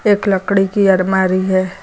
एक लकड़ी की अलमारी है।